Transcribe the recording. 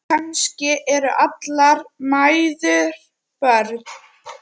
Kannski eru allar mæður börn.